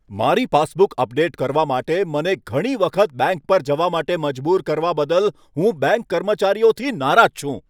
મારી passbook update કરવા માટે મને ઘણી વખત બેંક પર જવા માટે મજબૂર કરવા બદલ હું બેંક કર્મચારીઓથી નારાજ છું.